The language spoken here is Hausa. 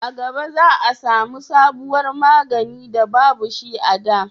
a gaba za a samu sabuwar magani da babu shi a da